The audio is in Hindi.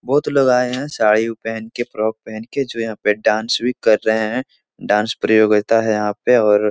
बहुत लोग आए हैं साड़ी-उड़ी पेहेन के फ्रॉक पेहेन के जो यहाँ पे डांस भी कर रहे हैं डांस प्रतियोगिता है यहाँ पे और --